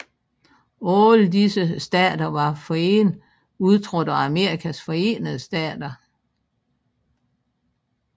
Alle disse stater var forinden udtrådt af Amerikas Forenede Stater